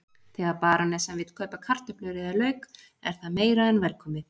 Þegar barónessan vill kaupa kartöflur eða lauk er það meira en velkomið.